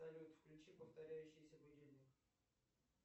салют включи повторяющийся будильник